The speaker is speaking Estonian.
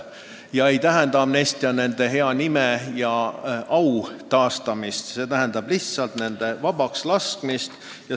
See ei tähenda nende hea nime ja au taastamist, see tähendab lihtsalt nende vabakslaskmist.